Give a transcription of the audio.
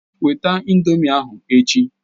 Weta ị̀ndómị́ ahụ echi!